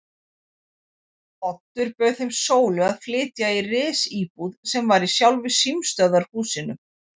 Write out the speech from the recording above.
Oddur bauð þeim Sólu að flytja í risíbúð sem var í sjálfu símstöðvarhúsinu.